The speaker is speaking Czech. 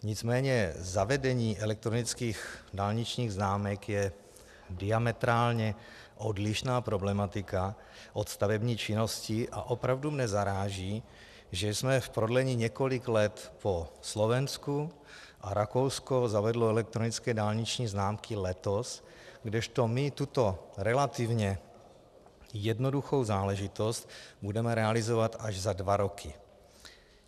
Nicméně zavedení elektronických dálničních známek je diametrálně odlišná problematika od stavební činnosti a opravdu mě zaráží, že jsme v prodlení několik let po Slovensku, a Rakousko zavedlo elektronické dálniční známky letos, kdežto my tuto relativně jednoduchou záležitost budeme realizovat až za dva roky.